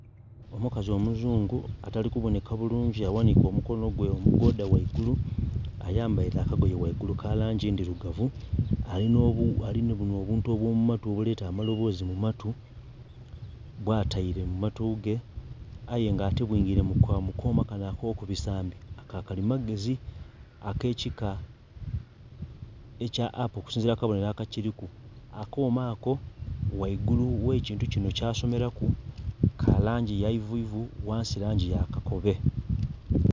Omukazi omuzungu atali kubonheka bulungi aghanhike omukono gwe omugoodha ghaigulu, ayambaile akagoye ghaigulu ka langi ndhilugavu, ali nhi bunho obuntu obw'omu matu obuleta amaloboozi mu matu, bwataile mu matu ge aye nga ate bwingile mu kooma kale ak'okubisambi ka kalimagezi ak'ekika ekya Apple okusinziila ku kabonhero aka kiliku. Akooma ako ghaigulu ogh'ekintu kino kyasomelaku ka langi y'eivuivu, ghansi, langi ya kakobe